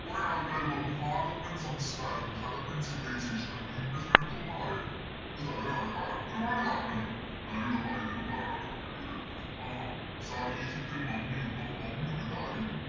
കൊറേ ആൾക്കാര് വന്നു ഹാരപ്പൻ സംസ്‌ക്കാരം ഹരപ്പൻ Civilization അല്ലെങ്കിൽ Indus രണ്ടും ഒന്നന്നറിയത് ഇത് തകരാനുള്ള കാരണം ഒരുപാട് കാരണങ്ങള് ഞാനിവിടെ പറയുന്നതിന് മുന്നേ ആരാടാ അവിടെ Comment ചെയ്തത് ആഹാ Sir ഈജിപ്തിൽ Mummy ഉണ്ടോ Mummy യു ഉണ്ട് Daddy യു ഉണ്ട്